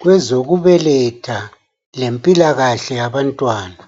Kwezokubeletha lempilakahle yabantwana,